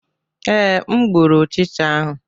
Ee, m gbụrụ ọchịcha ahụ.